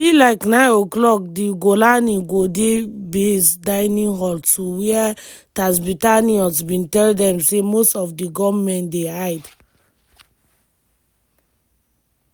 by like09:00 di golani go di base dining hall to wia tatzpitaniyot bin tell dem say most of di gunmen dey hide.